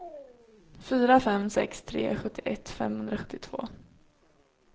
fyra fem sex tre sjuttioett femhundrasjuttiotvå